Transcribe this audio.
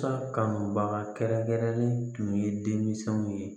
kanubaga kɛrɛnkɛrɛnlen tun ye denmisɛnw ye